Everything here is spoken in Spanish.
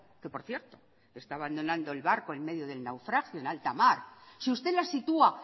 que por cierto está abandonando el barco en medio del naufragio en alta mar si usted la sitúa